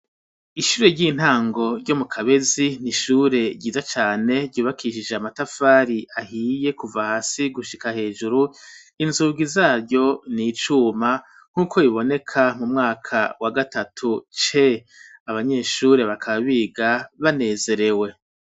Ishure ry'intango ryo mu Kabezi n'ishure ryiza cane ryubakishije amatafari ahiye kuva hasi gushika hejuru inzugi zaryo n'icuma nkuko boneka mu mwaka wa gatatu abanyeshuri bakaba biga banezerewe.